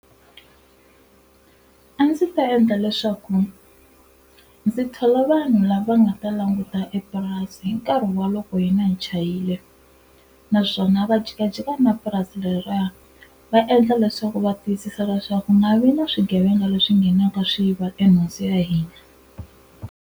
A ndzi ta endla leswaku ndzi thola vanhu lava nga ta languta epurasi hi nkarhi wa loko hina hi chayile naswona va jikajika na purasi leriya va endla leswaku va tiyisisa leswaku ku nga vi na swigevenga leswi nghenaka swi yiva e nhundzu ya hina.